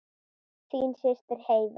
Þín systir Heiða.